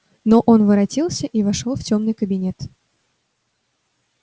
но он воротился и вошёл в тёмный кабинет